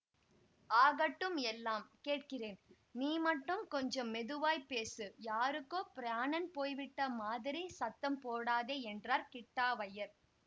ஆகட்டும் எல்லாம் கேட்கிறேன் நீ மட்டும் கொஞ்சம் மெதுவாய்ப் பேசு யாருக்கோ பிராணன் போய்விட்ட மாதிரி சத்தம் போடாதே என்றார் கிட்டாவய்யர்